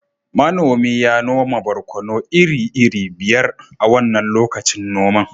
manomi ya noma barkono iri-iri biyar a wannan lokacin noma